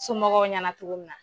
Somɔgɔw ɲɛna cogo min na.